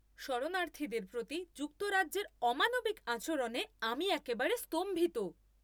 শরণার্থীদের প্রতি যুক্তরাজ্যের অমানবিক আচরণে আমি একেবারে স্তম্ভিত।